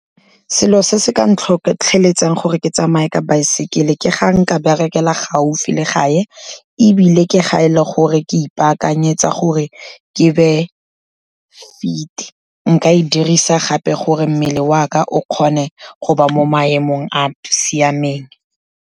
Selo se se ka ntlhotlheletsa gore ke tsamaye ka baesekele ke ga nka berekela gaufi le gae, ebile ke ga e le gore ke ipaakanyetsa gore ke be fit. Nka e dirisa gape gore mmele wa ka o kgone go ba mo maemong a siameng.